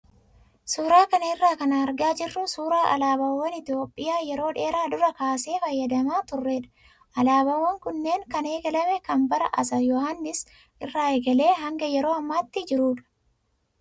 Suuraa kana irraa kan argaa jirru suuraa alaabaawwan Itoophiyaa yeroo dheeraa duraa kaasee fayyadamaa turredha. Alaabaawwan kunneen kan eegalame kan bara Atsee Yohaannis irraa eegalee haga kan yeroo ammaatti jirudha.